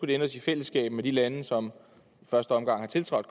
de ændres i fællesskab med de lande som i første omgang har tiltrådt